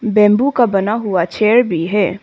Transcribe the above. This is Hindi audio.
बंबू का बना हुआ चेयर भी है।